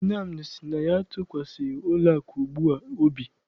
Nnamdi sị na ya atụkwasịghị ụlọakụ ugbua obi.